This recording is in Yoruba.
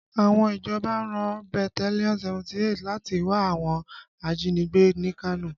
Àwọn ìjọba rán bataliọnú 78 láti wá àwọn ajínigbé ní Kano